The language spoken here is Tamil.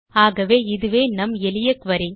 ஆகவே இதுவே நம் எளிய குரி